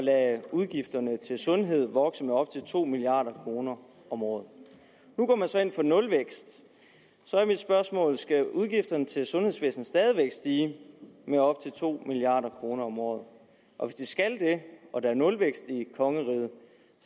at udgifterne til sundhed kunne vokse med op til to milliard kroner om året nu går man så ind for nulvækst så er mit spørgsmål skal udgifterne til sundhedsvæsenet stadig væk stige med op til to milliard kroner om året og hvis de skal det og der er nulvækst i kongeriget